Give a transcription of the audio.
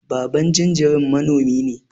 Baban jinjiran manomi ne.